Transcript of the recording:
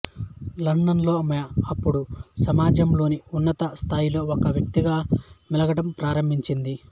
లండన్లో ఆమె అప్పుడు సమాజంలోని ఉన్నత స్థాయిలలో ఒక వ్యక్తిగా మెలగడం ప్రారంభించింది